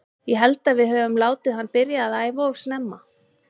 Ég held að við öfum látið hann byrja að æfa of snemma að æfa.